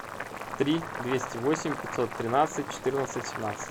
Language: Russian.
три двести восемь пятьсот тринадцать четырнадцать семнадцать